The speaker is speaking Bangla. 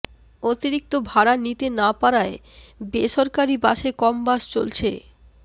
অতিরিক্ত ভাড়া নিতে না পারায় বেসরকারি বাসে কম বাস চলছে